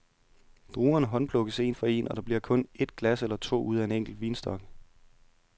Druerne håndplukkes en for en, og der bliver kun et glas eller to ud af en enkelt vinstok.